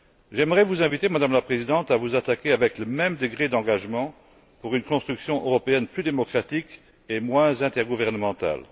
J'aimerais vous inviter, Madame la Présidente, à vous employer, avec le même degré d'engagement, à une construction européenne plus démocratique et moins intergouvernementale.